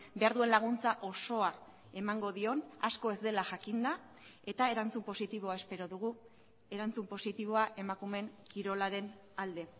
behar duen laguntza osoa emango dion asko ez dela jakinda eta erantzun positiboa espero dugu erantzun positiboa emakumeen kirolaren alde